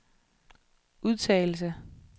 udtalelse